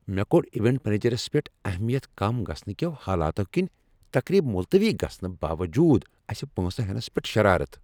مےٚ کوٚڑایونٹ منیجرس پٮ۪ٹھ اہمِیت كم گژھنہٕ كیو حالاتو كِنہِ تقریب مُلتوی گژھنہٕ باوجوٗد اسہِ پۄنٛسہٕ ہینس پیٹھ شرارتھ ۔